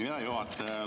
Hea juhataja!